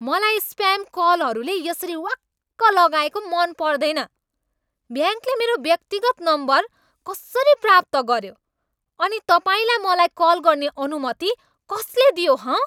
मलाई स्प्याम कलहरूले यसरी वाक्क लगाएको मन पर्दैन। ब्याङ्कले मेरो व्यक्तिगत नम्बर कसरी प्राप्त गऱ्यो अनि तपाईँलाई मलाई कल गर्ने अनुमति कसले दियो हँ?